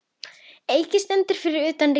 Eiki stendur fyrir utan Ríkið.